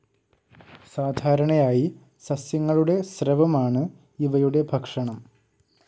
സാധാരണയായി സസ്യങ്ങളുടെ സ്രവമാണ് ഇവയുടെ ഭക്ഷണം.